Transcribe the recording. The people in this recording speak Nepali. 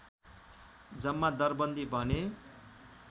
जम्मा दरबन्दी भने